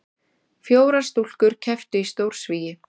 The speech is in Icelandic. Fjórar stúlkur kepptu í stórsvigi